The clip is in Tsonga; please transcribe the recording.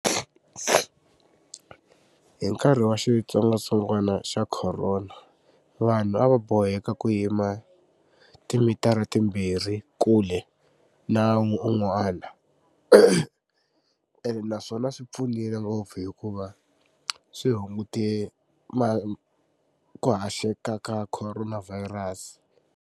Hi nkarhi wa xitsongwatsongwana xa corona vanhu a va boheka ku yima timitara timbirhi kule na un'wana ene naswona swi pfunile ngopfu hikuva swi hungute ma ku haxeka ka corona virus.